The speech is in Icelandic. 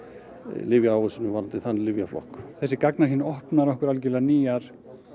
lyfjaávísunum á þann lyfjaflokk þessi opnar okkur algjörlega nýja